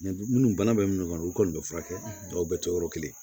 minnu bana bɛ minnu kɔnɔ olu kɔni bɛ furakɛ mɔgɔw bɛɛ tɛ yɔrɔ kelen